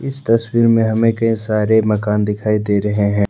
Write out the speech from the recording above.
इस तस्वीर हमें कई सारे मकान दिखाई दे रहे हैं।